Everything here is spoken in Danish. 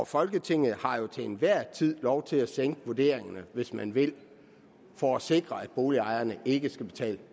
folketinget har jo til enhver tid lov til at sænke vurderingerne hvis man vil for at sikre at boligejerne ikke skal betale